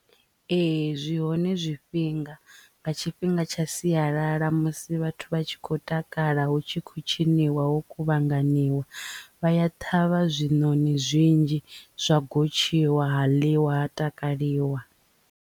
Ee zwi hone zwifhinga nga tshifhinga tsha siyalala musi vhathu vha tshi khou takala hu tshi khou tshiniwa ho kuvhanganiwa vha ya ṱhavha zwinoni zwinzhi zwa gotshiwa ha ḽiwa ha takaliwa.